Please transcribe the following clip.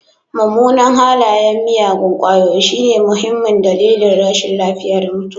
Mummunan halayen miyagun ƙwayoyi shine muhimmin dalilin rashin lafiya da mutuwa.